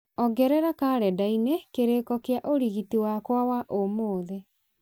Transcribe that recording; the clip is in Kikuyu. ongerera karenda-inĩ kĩrĩko kia ũrigiti wakwa wa ũmũthĩ